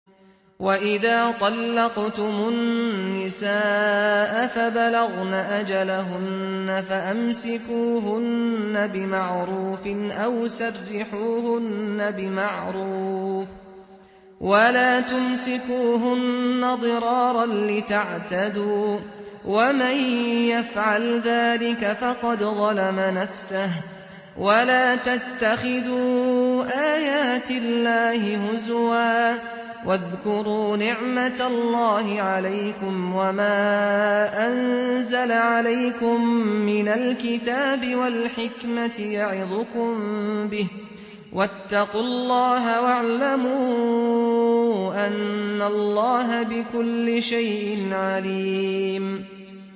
وَإِذَا طَلَّقْتُمُ النِّسَاءَ فَبَلَغْنَ أَجَلَهُنَّ فَأَمْسِكُوهُنَّ بِمَعْرُوفٍ أَوْ سَرِّحُوهُنَّ بِمَعْرُوفٍ ۚ وَلَا تُمْسِكُوهُنَّ ضِرَارًا لِّتَعْتَدُوا ۚ وَمَن يَفْعَلْ ذَٰلِكَ فَقَدْ ظَلَمَ نَفْسَهُ ۚ وَلَا تَتَّخِذُوا آيَاتِ اللَّهِ هُزُوًا ۚ وَاذْكُرُوا نِعْمَتَ اللَّهِ عَلَيْكُمْ وَمَا أَنزَلَ عَلَيْكُم مِّنَ الْكِتَابِ وَالْحِكْمَةِ يَعِظُكُم بِهِ ۚ وَاتَّقُوا اللَّهَ وَاعْلَمُوا أَنَّ اللَّهَ بِكُلِّ شَيْءٍ عَلِيمٌ